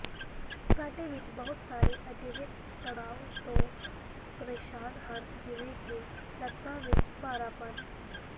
ਸਾਡੇ ਵਿੱਚੋਂ ਬਹੁਤ ਸਾਰੇ ਅਜਿਹੇ ਤਣਾਅ ਤੋਂ ਪਰੇਸ਼ਾਨ ਹਨ ਜਿਵੇਂ ਕਿ ਲੱਤਾਂ ਵਿੱਚ ਭਾਰਾਪਨ